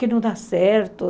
Que não dá certo.